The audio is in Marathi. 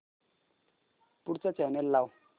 पुढचा चॅनल लाव